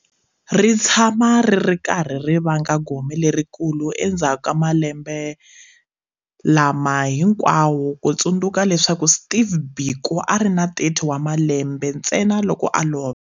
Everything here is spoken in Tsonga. Ri tshama ri ri karhi ri vanga gome lerikulu endzhaku ka malembe lama hinkwawo ku tsundzuka leswaku Steve Biko a ri na 30 wa malembe ntsena loko a lova.